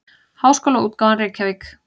Háskólaútgáfan Reykjavík.